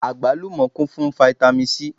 Àgbálùmọ́ kún fún fáítámì Sí.